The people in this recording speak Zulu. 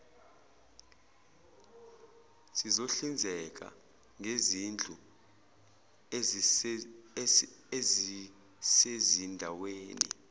sizohlinzeka ngezindlu ezisezindaweni